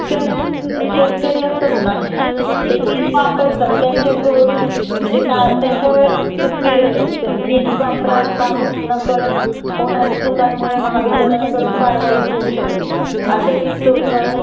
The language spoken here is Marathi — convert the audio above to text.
कारण शेतकरी असतात न ते वीज वापरतात त्यांच्या कडून म्हणजे त्यांच्यावर वीज वापरा बाबत होणाऱ्या चुकांकमुळे महावितरण कारवाई होऊ शकते अश्या वीज चोरी बाबत